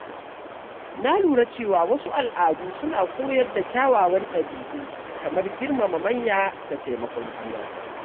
Na lura cewa wasu al’adu suna koyar da kyawawan ɗabi’u kamar girmama manya da taimakon juna.